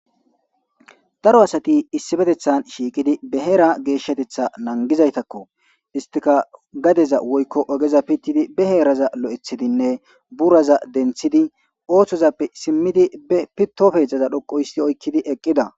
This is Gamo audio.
daro asati issifetethan shiiqidi be heera geeshshatetha nangizaytakko istika gadeza woykko ogeza pittidi be heeraza lo7ethidinne buraza denthidi ooththozappe simmidi be pitopeezdzaza dhoqo hissi oykkidi eqqida